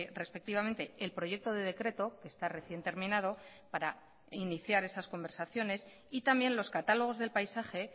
respectivamente el proyecto de decreto que está recién terminado para iniciar esas conversaciones y también los catálogos del paisaje